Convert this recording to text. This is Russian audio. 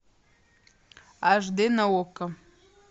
аш дэ на окко